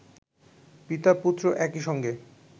পিতা-পুত্র একই সঙ্গে